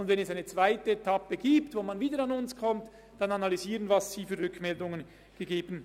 Wenn man dann in einer zweiten Etappe wieder an uns gelangt, werden wir Ihre Rückmeldungen analysieren.